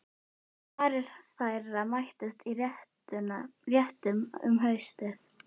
En varir þeirra mættust í réttum um haustið.